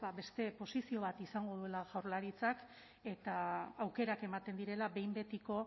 beste posizio bat izango duela jaurlaritzak eta aukerak ematen direla behin betiko